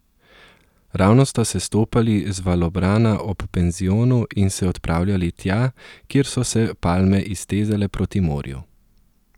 Ravno sta sestopali z valobrana ob penzionu in se odpravljali tja, kjer so se palme iztezale proti morju.